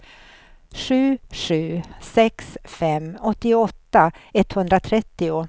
sju sju sex fem åttioåtta etthundratrettio